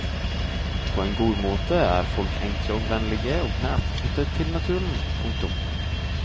På en god måte er folk enkle og vennlige og nært knyttet til naturen. punktum